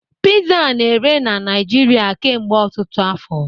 Pizza a na-ere na Naijiria kemgbe ọtụtụ afọ